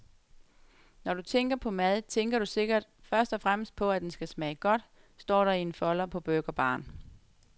Når du tænker på mad, tænker du sikkert først og fremmest på, at den skal smage godt, står der i en folder på burgerbaren.